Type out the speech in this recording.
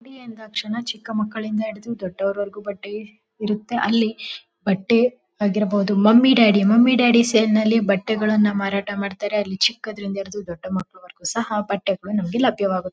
D ಎಂದಾಕ್ಷಣ ಚಿಕ್ಕ ಮಕ್ಕಳಿಂದ ಹಿಡಿದು ದೊಡ್ಡೋರ್ ವರೆಗು ಬಟ್ಟೆ ಇರುತ್ತೆ ಅಲ್ಲಿ ಬಟ್ಟೆ ಆಗಿರಬಹುದು mummy daddy mummy daddy sale ನಲ್ಲಿ ಬಟ್ಟೆಗಳನ್ನು ಮಾರಾಟ ಮಾಡತ್ತರೆ ಅಲ್ಲಿ ಚಿಕ್ಕಂದ್ರಿಂದ ಹಿಡಿದು ದೊಡ್ಡ ಮಕ್ಕಳು ವರೆಗು ಸಹ ಬಟ್ಟೆಗಳು ನಮಗೆ ಲಭ್ಯವಾಗುತ್ತದೆ.